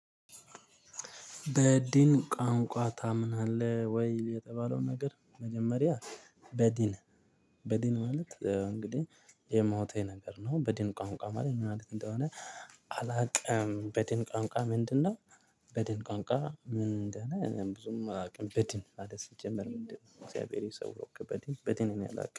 በዲን ቋንቋ ታምናለህ ወይ? የተባለው ነገር መጀመሪያ በዲን በዲን ማለት እንግዲህ የሞተ ነገር ነው። በዲን ቋንቋ ማለት ምንማለት እንደሆነ። አላቅም በድን ቋንቋ ምንድነው? በድን ቋንቋ ምንድነው? እኔ ብዙም አላውቅም። በድን ማለት ሲጀመር ምንድነው? እግዚአብሔር የሰውርክ በድን በድን እኔ አላቅም